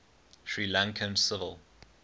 sri lankan civil